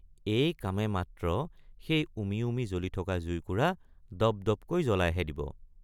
এই কামে মাত্ৰ সেই উমি উমি জ্বলি থকা জুইকুৰা দপ্‌দপ্‌কৈ জলাইহে দিব।